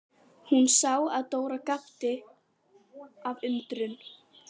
Hún sá að Dóra gapti af undrun.